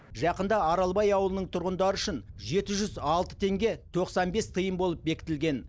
жақында аралбай ауылының тұрғындары үшін жеті жүз алты теңге тоқсан бес тиын болып бекітілген